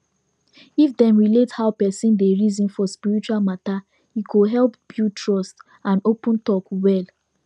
if dem relate how person dey reason for spiritual matter e go help build trust and open talk well